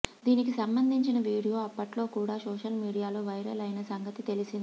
దీనికి సంబంధించిన వీడియో అప్పట్లో కూడా సోషల్ మీడియాలో వైరల్ అయిన సంగతి తెలిసిందే